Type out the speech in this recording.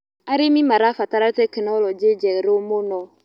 Arĩmĩ marabatara tekinoronjĩ njerũ mũno